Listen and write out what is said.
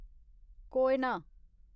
Koyna